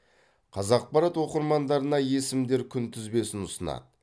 қазақпарат оқырмандарына есімдер күнтізбесін ұсынады